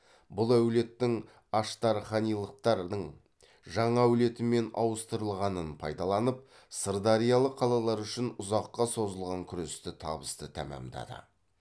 бұл әулеттің аштарханилықтар дың жаңа әулетімен ауыстырылғанын пайдаланып сырдариялық қалалар үшін ұзаққа созылған күресті табысты тәмамдады